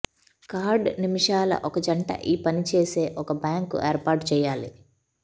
card నిమిషాల ఒక జంట ఈ పని చేసే ఒక బ్యాంకు ఏర్పాటు చేయాలి